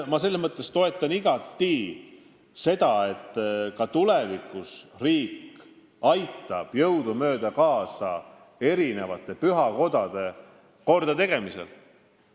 Ma toetan igati seda, et ka tulevikus aitab riik jõudumööda kaasa pühakodade kordategemisele.